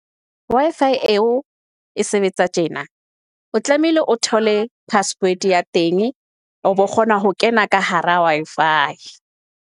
Wi-Fi eo e sebetsa tjena. O tlamehile o thole password ya teng o bo kgona ho kena ka hara Wi-Fi.